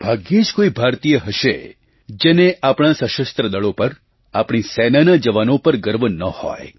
ભાગ્યે જ કોઈ ભારતીય હશે જેને આપણા સશસ્ત્ર દળો પર આપણી સેનાના જવાનો પર ગર્વ ન હોય